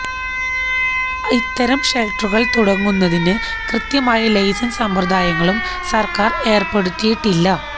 ഇത്തരം ഷെല്ട്ടറുകള് തുടങ്ങുന്നതിന് കൃത്യമായ ലൈസന്സ് സമ്പ്രദായങ്ങളും സര്ക്കാര് ഏര്പ്പെടുത്തിയിട്ടില്ല